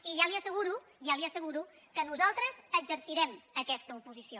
i ja li asseguro ja li asseguro que nosaltres exercirem aquesta oposició